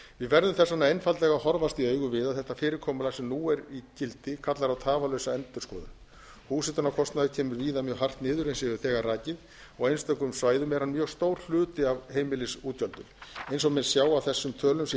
við verðum þess vegna að horfast í augu við að þetta fyrirkomulag sem nú er í gildi kallar á tafarlausa endurskoðun húshitunarkostnaður kemur víða mjög hart niður eins og ég hef þegar rakið og á einstökum svæðum er hann mjög stór hluti af heimilisútgjöldum eins og menn sjá af þessum tölum sem ég